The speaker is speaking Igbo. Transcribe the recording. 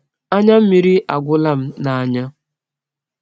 Anya mmịrị agwụla m n’anya.